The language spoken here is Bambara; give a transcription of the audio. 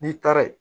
N'i taara ye